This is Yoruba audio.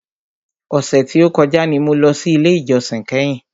Ọ̀sẹ̀ tí o kọjá ni mo lọ sí ilé ìjósìn kẹ́hìn.